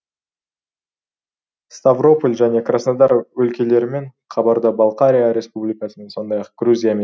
ставрополь және краснодар өлкелерімен қабарда балқария республикасымен сондай ақ грузиямен шекаралас